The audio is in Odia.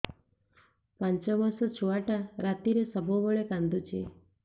ପାଞ୍ଚ ମାସ ଛୁଆଟା ରାତିରେ ସବୁବେଳେ କାନ୍ଦୁଚି